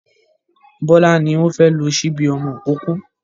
Bọ́lá ni wọ́n fẹ́ lo ṣíbí ọmọ ìkókó.